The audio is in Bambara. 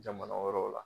Jamana wɛrɛw la